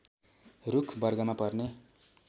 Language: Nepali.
रूख वर्गमा पर्ने